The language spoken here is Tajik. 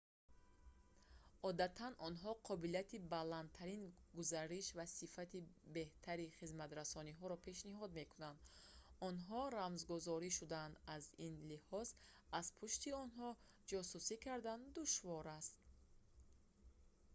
одатан онҳо қобилияти баландтари гузариш ва сифати беҳтари хизматрасониро пешниҳод мекунанд онҳо рамзгузорӣ шудаанд аз ин лиҳоз аз пушти онҳо ҷосусӣ кардан душвор аст